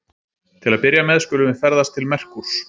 Til að byrja með skulum við ferðast til Merkúrs.